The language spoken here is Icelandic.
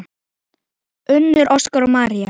Unnur, Óskar og María.